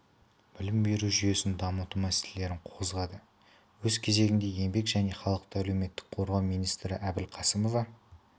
білім беру жүйесін дамыту мәселелерін қозғады өз кезегінде еңбек және халықты әлеуметтік қорғау министрі әбілқасымова